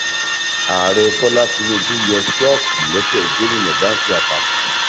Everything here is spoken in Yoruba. ààrẹ bọlá tínúbù yọ ṣòókì lẹsẹ gómìnà báńkì àpapọ